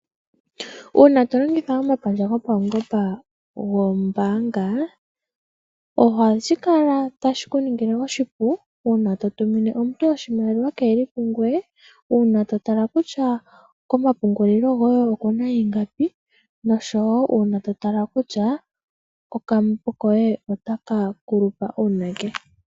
Uuna to longitha omapandja gopaungomba gombaanga ohashi ku ningile oshipu uuna to tumine omuntu oshimaliwa kee li pungoye, uuna to tala kutya komapungulilo goye oku n aingapi noshowo uuna to tala kutya kokambo koye itaka kulupa uunake.